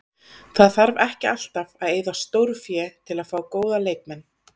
Það þarf ekki alltaf að eyða stórfé til að fá góða leikmenn.